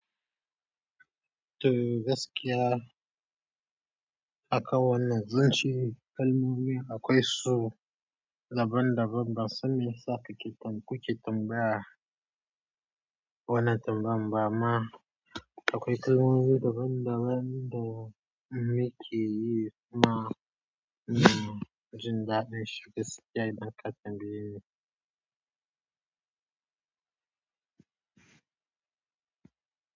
To gaskiya haka wannan zanci kalmomi akwai su daban daban ba sanda yasa kuke ke tambaya. Wannan tambaya ba amma akwai kalmomi daban daban da muke yi amma jinda ɗin shiga.